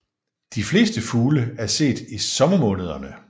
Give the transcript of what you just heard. De fleste fugle er set i sommermånederne